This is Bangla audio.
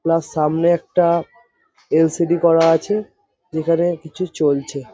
প্লাস সামনে একটা এল_সি_ডি করা আছে যেখানে কিছু চলছে।